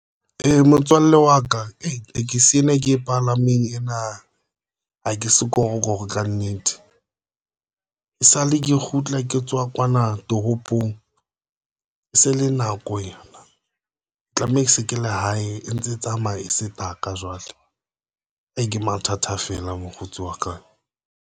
Motswalle wa ka tekesi ena e ke e palameng ena ha ke sekorokoro kannete esale ke kgutla ke tswa kwana toropong puong. E se le nako yona tlameha ke se ke la hae e ntse tsamaya sebaka jwale e ke mathata feela. mokgotsi wa ka.